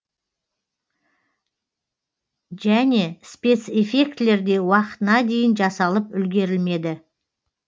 және спецэффектілер де уақытына дейін жасалып үлгерілмеді